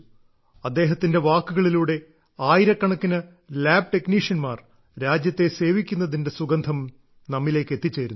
അദ്ദേഹത്തിന്റെ വാക്കുകളിലൂടെ ആയിരക്കണക്കിന് ലാബ് ടെക്നീഷ്യൻമാർ രാജ്യത്തെ സേവിക്കുന്നതിന്റെ സുഗന്ധം നമ്മിലേക്ക് എത്തിച്ചേരുന്നു